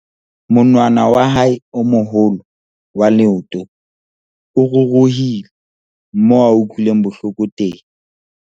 monwana wa hae o moholo wa leoto o ruruhile moo a utlwileng bohloko teng